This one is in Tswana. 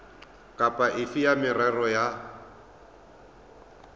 kapa efe ya merero ya